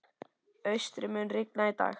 Austri, mun rigna í dag?